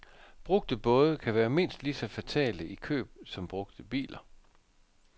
Brugte både kan være mindst lige så fatale i køb som brugte biler.